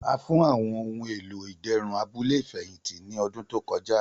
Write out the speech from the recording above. A fun awọn ohun elo iderun abule ifẹhinti ni ọdun to kọja.